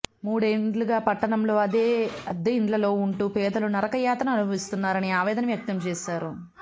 మూడేండ్లుగా పట్టణంలో అద్దె ఇండ్లల్లో ఉంటూ పేదలు నరక యాతన అనుభవిస్తున్నారని ఆవేదన వ్యక్తం చేశారు